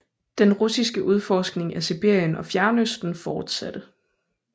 Den russiske udforskning af Sibirien og Fjernøsten fortsatte